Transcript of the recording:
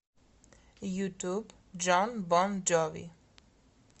ютуб джон бон джови